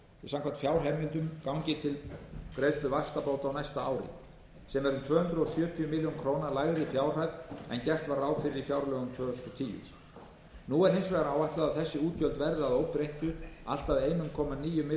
samkvæmt fjárheimildum gangi til greiðslu vaxtabóta á næsta ári sem er um tvö hundruð sjötíu milljónum króna lægri fjárhæð en gert var ráð fyrir í fjárlögum tvö þúsund og tíu nú er hins vegar áætlað að þessi útgjöld verði að óbreyttu allt að einn komma níu milljörðum